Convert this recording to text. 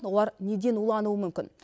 олар неден улануы мүмкін